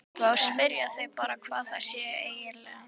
Þá spyrja þau bara hvað það sé nú eiginlega.